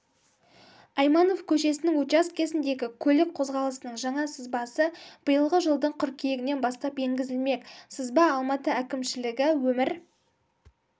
айманов көшесінің учаскесіндегі көлік қозғалысының жаңа сызбасы биылғы жылдың қыркүйегінен бастап енгізілмек сызба алматы әкімшілігі өмір